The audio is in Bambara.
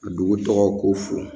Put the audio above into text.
Ka dugu tɔgɔw ko fo